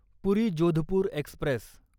पुरी Jodhpur Express